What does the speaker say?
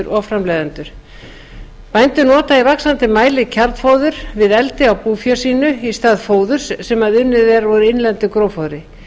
og framleiðendur bændur nota í vaxandi mæli kjarnfóður við eldi á búfé sínu í stað fóðurs sem unnið er úr innlendu gróffóðri